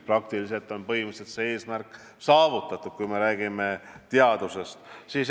Põhimõtteliselt on see eesmärk saavutatud, kui me räägime teadusest.